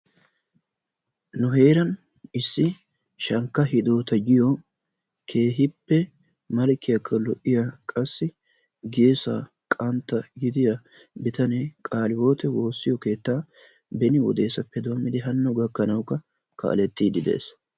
Nu heeran issi Shankka Hiddota giyo keehippe malkkiyakka lo'iya qassi geessaa qantta gidiya bitanee qaalihiwote woossiyo keettaa beni wodeasppe doommidi hano gakkanawukks kaalettiidi de'ees.